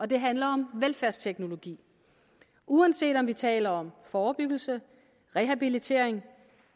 det handler om velfærdsteknologi uanset om vi taler om forebyggelse rehabilitering